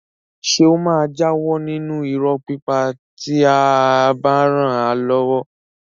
Ṣé ó máa jáwọ́ nínú irọ́ pípa tí a bá ràn án lọ́wọ́?